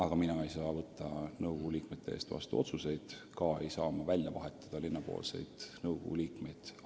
Aga mina ei saa võtta nõukogu liikmete eest otsuseid vastu, ka ei saa ma välja vahetada linna esindavaid nõukogu liikmeid.